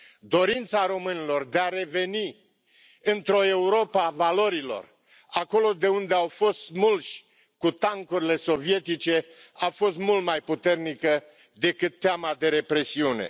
Dorința românilor de a reveni într o Europă a valorilor, acolo de unde au fost smulși cu tancurile sovietice, a fost mult mai puternică decât teama de represiune.